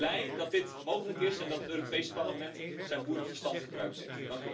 Ik ben blij dat dit mogelijk is en dat het Europees Parlement zijn boerenverstand gebruikt heeft.